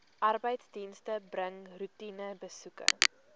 arbeidsdienste bring roetinebesoeke